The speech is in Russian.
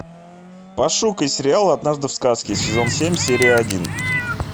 пошукай сериал однажды в сказке сезон семь серия один